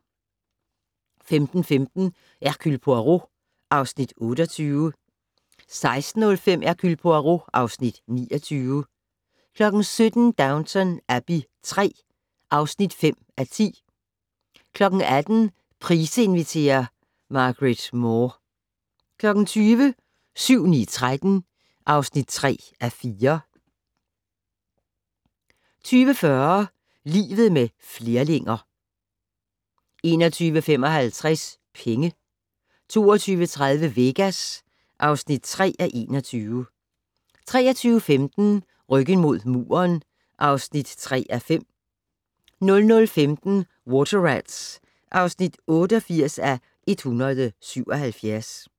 15:15: Hercule Poirot (Afs. 28) 16:05: Hercule Poirot (Afs. 29) 17:00: Downton Abbey III (5:10) 18:00: Price inviterer - Margrethe Moore 20:00: 7-9-13 (3:4) 20:40: Livet med flerlinger 21:55: Penge 22:30: Vegas (3:21) 23:15: Ryggen mod muren (3:5) 00:15: Water Rats (88:177)